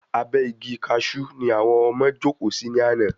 Abẹ́ Igi Kaṣú ni àwọn ọmọ jókòó sí ní àná